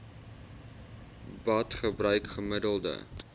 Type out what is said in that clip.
bad gebruik gemiddeld